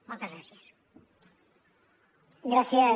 moltes gràcies